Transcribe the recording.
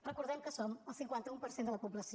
recordem que som el cinquanta un per cent de la població